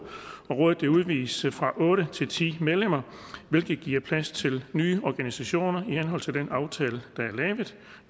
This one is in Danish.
rådet udvides fra otte til ti medlemmer hvilket giver plads til nye organisationer i henhold til den aftale der er lavet